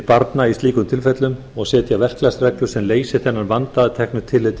barna í slíkum tilfellum og setja verklagsreglur sem leysi þennan vanda að teknu tilliti